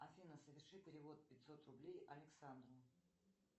афина соверши перевод пятьсот рублей александру